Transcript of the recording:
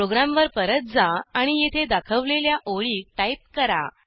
प्रोग्रॅमवर परत जा आणि येथे दाखवलेल्या ओळी टाईप करा